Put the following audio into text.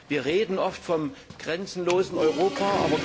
Wir reden oft vom grenzenlosen Europa.